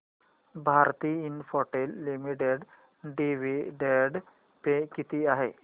Bharti Infratel limited dividend pay किती आहे